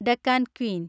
Deccan Queen